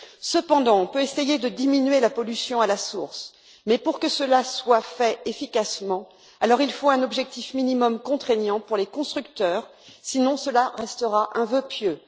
Cependant, on peut essayer de diminuer la pollution à la source, mais pour que cela soit fait efficacement, il faut un objectif minimum contraignant pour les constructeurs, sinon cela restera un vœu pieux.